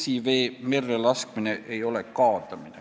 Pilsivee merre laskmine ei ole kaadamine.